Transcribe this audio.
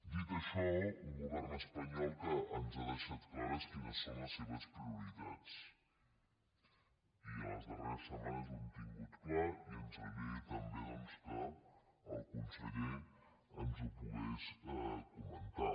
dit això un govern espanyol que ens ha deixat clares quines són les seves prioritats i en les darreres setmanes ho hem tingut clar i ens agradaria també doncs que el conseller ens ho pogués comentar